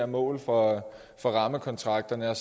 mål for for rammekontrakterne og